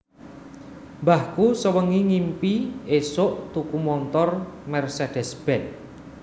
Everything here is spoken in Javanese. Mbahku sewengi ngimpi isok tuku montor Mercedes Benz